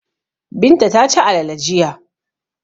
Binta ta ci alale jiya.